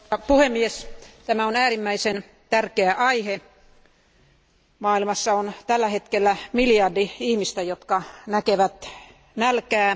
Arvoisa puhemies, tämä on äärimmäisen tärkeä aihe. Maailmassa on tällä hetkellä miljardi ihmistä, jotka näkevät nälkää.